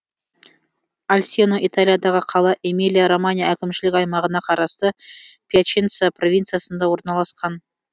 альсено италиядағы қала эмилия романья әкімшілік аймағына қарасты пьяченца провинциясында орналасқан